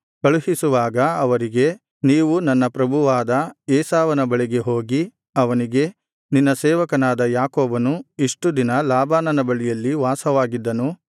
ಕಳುಹಿಸುವಾಗ ಅವರಿಗೆ ನೀವು ನನ್ನ ಪ್ರಭುವಾದ ಏಸಾವನ ಬಳಿಗೆ ಹೋಗಿ ಅವನಿಗೆ ನಿನ್ನ ಸೇವಕನಾದ ಯಾಕೋಬನು ಇಷ್ಟು ದಿನ ಲಾಬಾನನ ಬಳಿಯಲ್ಲಿ ವಾಸವಾಗಿದ್ದನು